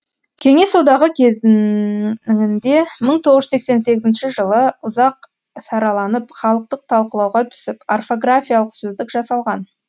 кеңес одағы кезеңінде мың тоғыз жүз тоқсан тоғызыншы жылы ұзақ сараланып халықтық талқылауға түсіп орфографиялық сөздік жасалған